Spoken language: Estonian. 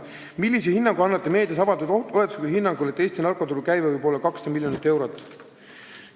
Neljas küsimus: "Millise hinnangu annate meedias avaldatud oletuslikule hinnangule, et Eesti narkoturu käive võib olla 200 miljonit eurot?